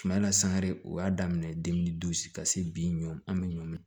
Kuma na san yɛrɛ o y'a daminɛ ka se bi ɲɔ an be ɲɔn min